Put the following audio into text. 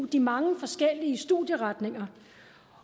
de mange forskellige studieretninger